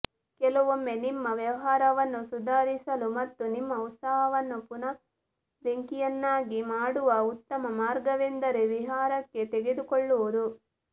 ಕೆಲವೊಮ್ಮೆ ನಿಮ್ಮ ವ್ಯವಹಾರವನ್ನು ಸುಧಾರಿಸಲು ಮತ್ತು ನಿಮ್ಮ ಉತ್ಸಾಹವನ್ನು ಪುನಃ ಬೆಂಕಿಯನ್ನಾಗಿ ಮಾಡುವ ಉತ್ತಮ ಮಾರ್ಗವೆಂದರೆ ವಿಹಾರಕ್ಕೆ ತೆಗೆದುಕೊಳ್ಳುವುದು